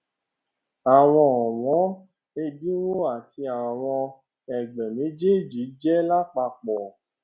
àwọn ọwọn ẹdínwó ti àwọn ẹgbẹ méjéèjì jẹ lápapọ